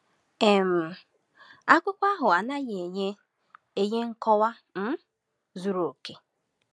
um Akụkọ ahụ anaghị enye enye nkọwa um zuru oke.